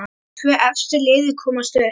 Tvö efstu liðin komast upp.